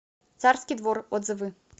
царский двор отзывы